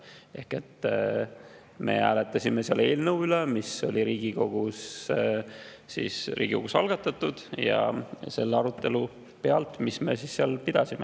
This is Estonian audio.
Ehk me hääletasime selle eelnõu üle, mis oli Riigikogus algatatud, ja selle arutelu pealt, mis me seal pidasime.